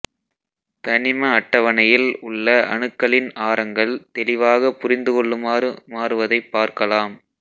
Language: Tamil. தனிம அட்டவணையில் உள்ள அணுக்களின் ஆரங்கள் தெளிவாக புரிந்துகொள்ளுமாறு மாறுவதைப் பார்கலாம்